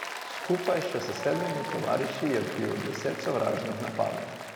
Skupaj še s sedmimi tovariši je odbil deset sovražnih napadov.